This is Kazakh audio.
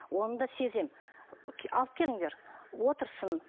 оны да сеземін алып келіңдер отырсын